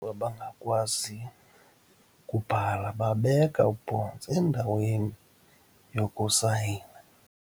abangakwazi kubhala babeka ubhontsi endaweni yokusayina.